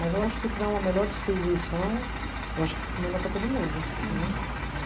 Mas eu acho que se tiver uma melhor distribuição, eu acho que fica melhor para todo mundo, né. Uhum